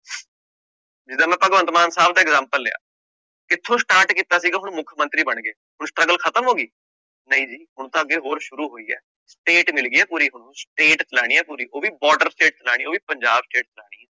ਜਿੱਦਾਂ ਮੈਂ ਭਗਵੰਤ ਮਾਨ ਸਾਹਬ ਦਾ example ਲਿਆ, ਕਿੱਥੋਂ start ਕੀਤਾ ਸੀਗਾ ਹੁਣ ਮੁੱਖ ਮੰਤਰੀ ਬਣ ਗਏ, ਹੁਣ struggle ਖ਼ਤਮ ਹੋ ਗਈ, ਨਹੀਂ ਜੀ ਹੁਣ ਤਾਂ ਅੱਗੇ ਹੋਰ ਸ਼ੁਰੂ ਹੋਈ ਹੈ state ਮਿਲ ਗਈ ਹੈ ਪੂਰੀ ਹੁਣ state ਚਲਾਉਣੀ ਹੈ ਪੂਰੀ ਉਹ ਵੀ border state ਚਲਾਉਣੀ ਹੈ ਉਹ ਵੀ ਪੰਜਾਬ state ਚਲਾਉਣੀ ਹੈ।